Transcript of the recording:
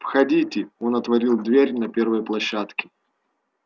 входите он отворил дверь на первой площадке